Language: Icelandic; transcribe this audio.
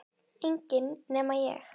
Enginn nema ég